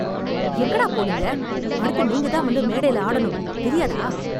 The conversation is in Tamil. எங்கடா போனீங்க? அடுத்து நீங்க தான் வந்து மேடைல ஆடணும். தெரியாதா?